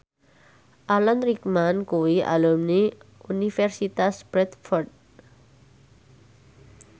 Alan Rickman kuwi alumni Universitas Bradford